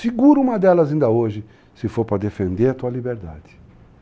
Seguro uma delas ainda hoje, se for para defender a tua liberdade.